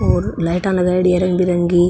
और लाइटा लगायेड़ी है रंग बिरंगी --